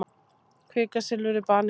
Kvikasilfur er baneitrað.